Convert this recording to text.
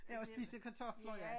Ja at spise kartofler ja